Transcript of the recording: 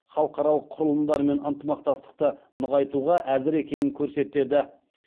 халықаралық құрылымдармен ынтымақтастықты нығайтуға әзір екенін көрсетеді